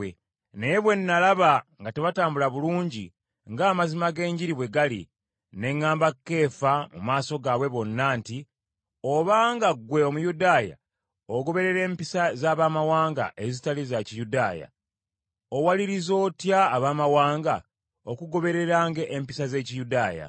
Naye bwe nalaba nga tebatambula bulungi ng’amazima g’enjiri bwe gali, ne ŋŋamba Keefa mu maaso gaabwe bonna nti, “Obanga ggwe Omuyudaaya ogoberera empisa z’Abamawanga ezitali za Kiyudaaya, owaliriza otya Abaamawanga okugobereranga empisa z’Ekiyudaaya?”